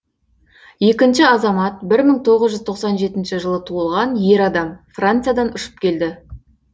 екінші азамат бір мың тоғыз жүз тоқсан жетінші жылы туылған ер адам франциядан ұшып келді